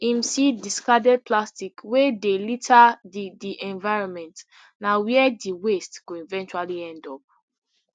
im see discarded plastic wey dey litter di di environment na wia di waste go eventually end up